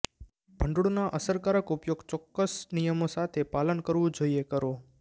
ભંડોળના અસરકારક ઉપયોગ ચોક્કસ નિયમો સાથે પાલન કરવું જોઈએ કરો